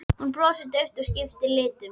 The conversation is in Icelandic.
Þú brosir daufur og skiptir litum.